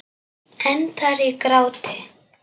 Endar í gráti.